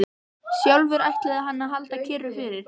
Sjálfur ætlaði hann að halda kyrru fyrir.